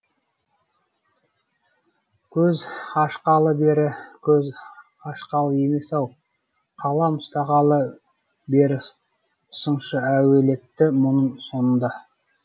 көз ашқалы бері көз ашқалы емес ау қалам ұстағалы бері сыншы әулеті мұның сонда